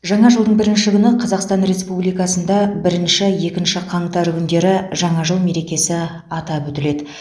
жаңа жылдың бірінші күні қазақстан республикасында бірінші екінші қаңтар күндері жаңа жыл мерекесі атап өтіледі